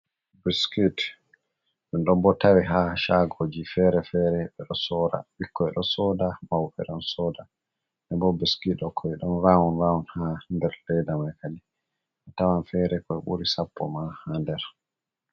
Biskit ɗum ɗon bo tawi ha shagoji fere-fere ɓe ɗo soda. ɓukkoi ɗo soda, mauɓe ɗon soda nden bo biskit kon don vawon-vawon ha der ledda mai. kadi bo a tawan fere kam ɓuri sappo ma ha nder.